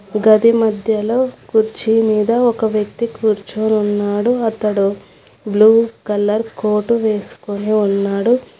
గది మధ్యలో కుర్చీ మీద ఒక వ్యక్తి కూర్చో ఉన్నాడు అతడు బ్లూ కలర్ కోటు వేసుకుని ఉన్నాడు.